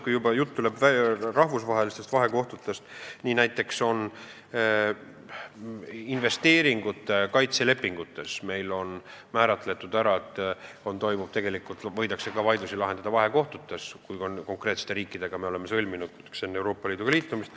Kui jutt on rahvusvahelistest vahekohtutest, siis näiteks on meil investeeringute kaitse lepingutes kirjas, et vaidlusi võidakse lahendada ka vahekohtutes, kui me oleme konkreetsete riikidega lepingu sõlminud enne Euroopa Liiduga liitumist.